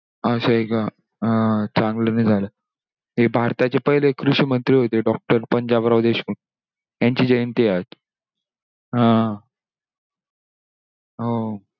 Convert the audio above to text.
असंय का, अं अं चांगलं नाही झालं. ते भारताचे पहिले कृषिमंत्री होते doctor पंजाबराव देशमुख त्यांची जयंती आहे आज. हा.